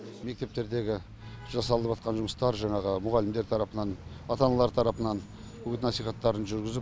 мектептердегі жасалып жатқан жұмыстар жаңағы мұғалімдер тарапынан ата аналар тарапынан үгіт насихаттарын жүргізіп